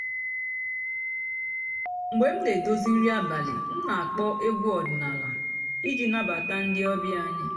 mg̀bé m nà-èdozí nrí àbàlí m nà-àkpọ́ ègwú ọ̀dị́náàlà ìjì nàbàtá ndị́ ọ̀bị́á ànyị́.